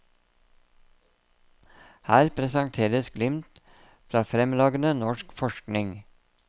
Her presenteres glimt fra fremragende norsk forskning.